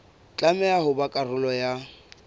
tlameha ho ba karolo ya